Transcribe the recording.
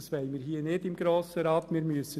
Das wollen wir im Grossen Rat nicht tun.